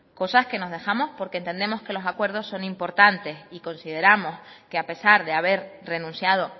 cosas que nos dejamos porque entendemos que los acuerdos son importantes y consideramos que a pesar de haber renunciado